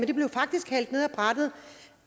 det blev faktisk hældt ned ad brættet